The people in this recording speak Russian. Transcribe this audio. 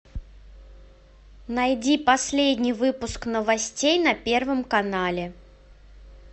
найди последний выпуск новостей на первом канале